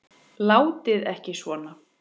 Látið ekki svona.